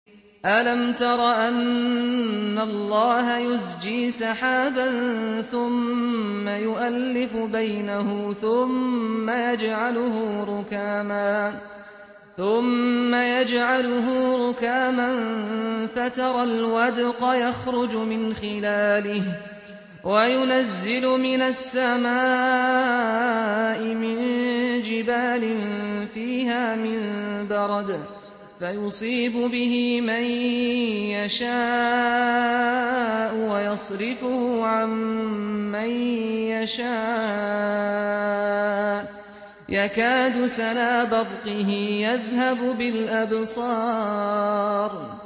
أَلَمْ تَرَ أَنَّ اللَّهَ يُزْجِي سَحَابًا ثُمَّ يُؤَلِّفُ بَيْنَهُ ثُمَّ يَجْعَلُهُ رُكَامًا فَتَرَى الْوَدْقَ يَخْرُجُ مِنْ خِلَالِهِ وَيُنَزِّلُ مِنَ السَّمَاءِ مِن جِبَالٍ فِيهَا مِن بَرَدٍ فَيُصِيبُ بِهِ مَن يَشَاءُ وَيَصْرِفُهُ عَن مَّن يَشَاءُ ۖ يَكَادُ سَنَا بَرْقِهِ يَذْهَبُ بِالْأَبْصَارِ